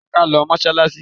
Jẹ́ ká lọ sí mọ́sálásí!